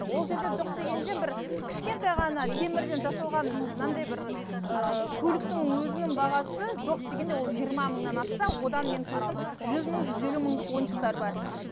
ол жерде жоқ дегенде бір кішкентай ғана темірден жасалған мынандай бір ыыы көліктің өзінің бағасы жоқ дегенде ол жиырма мыңнан асса одан мен көрдім жүз мың жүз елу мыңдық ойыншықтар бар